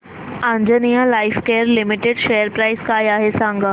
Anjaneya lifecare limited share price काय आहे सांगा